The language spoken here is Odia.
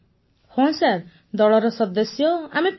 ପୁନମ ନୌଟିଆଲ୍ ହଁ ଦଳର ସଦସ୍ୟ ଆମେ ପାଂଚଜଣ ସାର୍